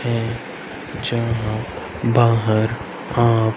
है जहां बाहर आप--